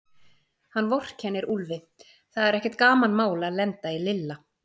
Hann vorkennir Úlfi, það er ekkert gamanmál að lenda í Lilla.